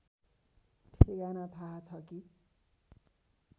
ठेगाना थाहा छ कि